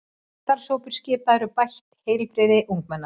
Starfshópur skipaður um bætt heilbrigði ungmenna